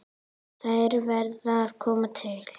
Þær verði að koma til.